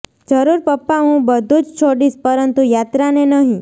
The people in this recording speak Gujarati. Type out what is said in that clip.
જરૂર પપ્પા હું બધું જ છોડીશ પરંતુ યાત્રાને નહીં